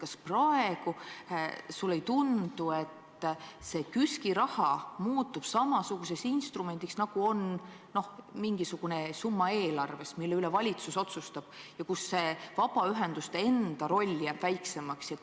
Kas sulle praegu ei tundu, et KÜSK-i raha muutub samasuguseks instrumendiks, nagu on mingisugune summa eelarves, mille üle valitsus otsustab ja mille puhul vabaühenduste enda roll jääb väiksemaks?